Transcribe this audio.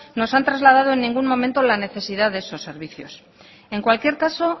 nos han trasladado en ningún momento la necesidad de esos servicios en cualquier caso